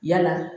Yala